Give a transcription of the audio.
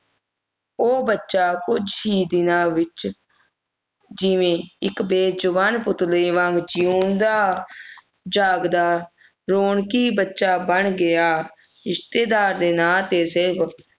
ਉਹ ਬੱਚਾ ਕੁਝ ਹੀ ਦਿਨਾਂ ਵਿਚ ਇਕ ਬੇਜੁਬਾਨ ਬੁੱਤ ਦੇ ਵਾਂਗ ਜਿਉਂਦਾ ਜਾਗਦਾ ਰੋਣਕੀ ਬੱਚਾ ਬਣ ਗਿਆ ਰਿਸ਼ਤੇਦਾਰ ਦੇ ਨਾ ਤੇ ਸਿਰਫ